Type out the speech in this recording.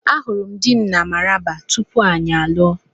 Ahụrụ m dị m na Maraba tupu anyị alụọ.